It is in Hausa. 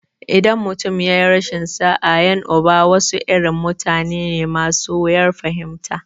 In mutum ya yi rashin sa'a, 'yan uba wasu irin mutane ne masu wuyar fahimta.